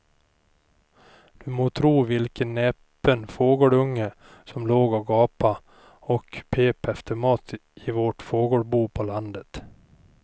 Du må tro vilken näpen fågelunge som låg och gapade och pep efter mat i vårt fågelbo på landet.